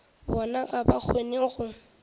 bona ga ba kgone go